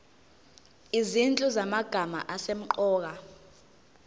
izinhlu zamagama asemqoka